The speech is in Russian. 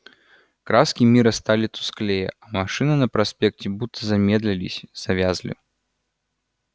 краски мира стали тусклее а машины на проспекте будто замедлились завязли